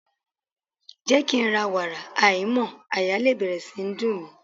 Jẹ́ kí ń ra wàrà aìímọ́ àyà lè bẹ̀rẹ̀ sí í dùn mí.